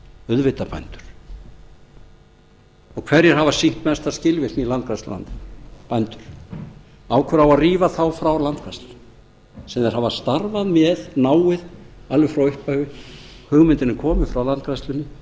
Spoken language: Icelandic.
auðvitað bændur og hverjir hafa sýnt mesta skilvirkni í landgræðslu og annað bændur af hverju á að rífa þá frá landgræðslunni sem þeir hafa starfað með náið alveg frá upphafi hugmyndin er komin frá landgræðslunni